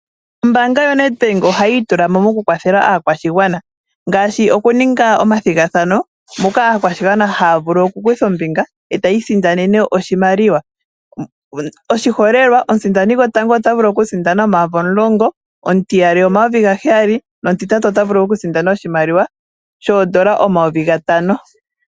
Ombaanga yo Nedbank oha yi itulamo moku kwathela aakwashigwana ngaashi oku ninga omathigathano, moka aakwashigwana ha ya vulu oku kutha ombinga ee ta yi isindanene oshimaliwa . Oshiholelwa omusindani gwotango ota vulu oku sindana omayovi omulongo, omutiyali omayovi gaheyali, nomutitatu ota vulu oku sindana oshimaliwa shoodola omayovi gatano.